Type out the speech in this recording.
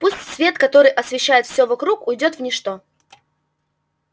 пусть свет который освещает всё вокруг уйдёт в ничто